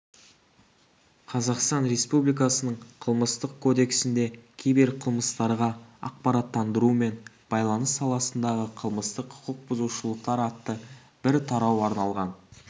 қазақстан республикасының қылмыстық кодексінде киберқылмыстарға ақпараттандыру мен байланыс саласындағы қылмыстық құқық бұзушылықтар атты бір тарау арналған